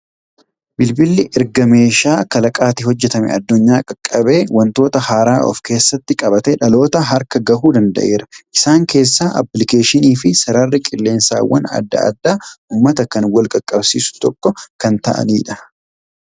Bilbilli erga meeshaa kalaqaatti hojjetamee addunyaa qaqqabee, waantota haaraa of keessatti qabaatee dhaloota harka gahuu danda'eera. Isaan keessaa aappilikeeshinii fi sararri qilleensaawwan adda addaa uummata kan wal qaqqabsiisu tokko kan ta'anidha.